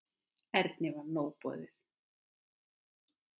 Erni var nóg boðið.